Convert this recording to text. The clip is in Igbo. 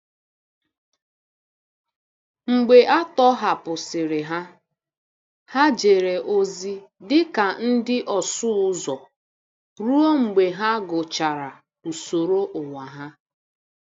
Mgbe a tọhapụsịrị ha, ha jere ozi dị ka ndị ọsụ ụzọ ruo mgbe ha gụchara usoro ụwa ha.